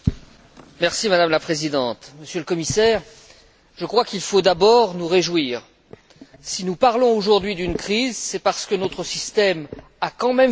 Madame la Présidente, Monsieur le Commissaire, je crois qu'il faut d'abord nous réjouir, car si nous parlons aujourd'hui d'une crise, c'est parce que notre système a quand même fonctionné.